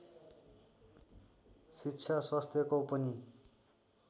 शिक्षा स्वास्थ्यको पनि